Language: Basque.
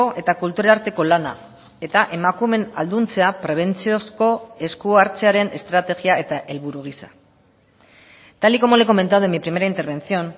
eta kultur arteko lana eta emakumeen ahalduntzea prebentziozko esku hartzearen estrategia eta helburu giza tal y como le he comentado en mi primera intervención